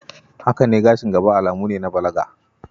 Haka ne gashin gaba alamu ne na balaga.